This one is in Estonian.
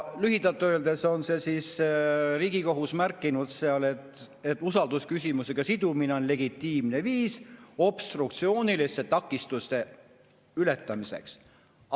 Lühidalt öeldes on Riigikohus seal märkinud, et usaldusküsimusega sidumine on legitiimne viis obstruktsiooniliste takistuste ületamiseks.